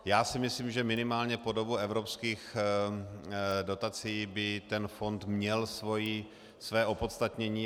Já si myslím, že minimálně po dobu evropských dotací by ten fond měl své opodstatnění.